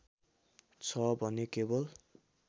छ भने केवल